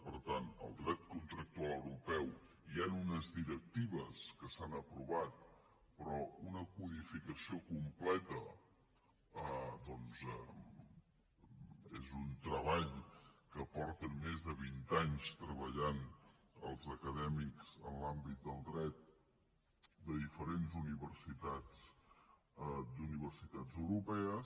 per tant al dret contractual europeu hi han unes directives que s’han aprovat però una codificació completa doncs és un treball que fa més de vint anys que hi treballen els acadèmics en l’àmbit del dret de diferents universitats europees